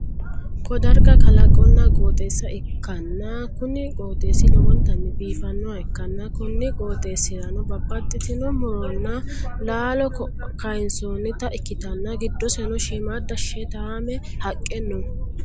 ko darga kalaqonna qooxeessa ikkanna, kuni qooxeessi lowontanni biifannoha ikkanna, konni qooxeesi'ranno babbaxxitino muronna laaalo kayiinsoonnita ikkitanna, giddoseno shimmadda sheetaame haqe noo